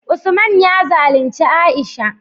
Usman ya zalunci Aisha